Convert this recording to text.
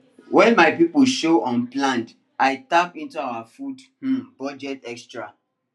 when my people show unplanned i tap into our food um budget extra